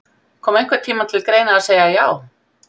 Kom einhvern tímann til greina að segja já?